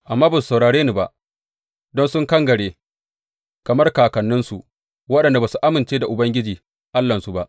Amma ba su saurare ni ba don sun kangare kamar kakanninsu, waɗanda ba su amince da Ubangiji Allahnsu ba.